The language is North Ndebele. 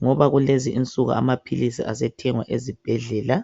ngoba kulezi insuku amaphilisi asethengwa ezibhedlela.